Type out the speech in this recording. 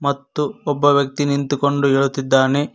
ಮತ್ತು ಒಬ್ಬ ವ್ಯಕ್ತಿ ನಿಂತುಕೊಂಡು ಹೇಳುತ್ತಿದ್ದಾನೆ.